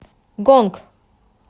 гонг